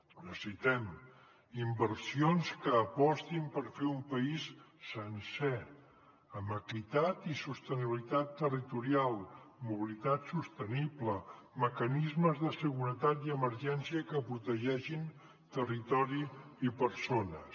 necessitem inversions que apostin per fer un país sencer amb equitat i sostenibilitat territorial mobilitat sostenible mecanismes de seguretat i emergència que protegeixin territori i persones